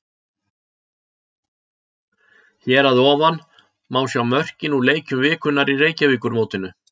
Hér að ofan má sjá mörkin úr leikjum vikunnar í Reykjavíkurmótinu.